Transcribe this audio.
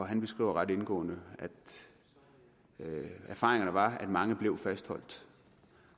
han beskriver ret indgående at erfaringerne var at mange blev fastholdt